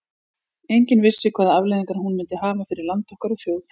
Enginn vissi hvaða afleiðingar hún myndi hafa fyrir land okkar og þjóð.